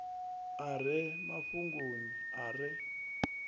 a re mafhungoni a re